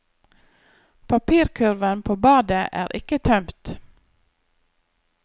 Papirkurven på badet er ikke tømt.